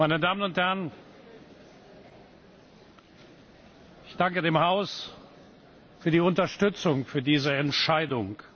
Meine Damen und Herren, ich danke dem Haus für die Unterstützung für diese Entscheidung.